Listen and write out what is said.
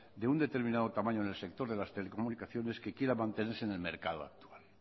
de un determinado tamaño en el sector de las telecomunicaciones que quiera mantenerse en el mercado actual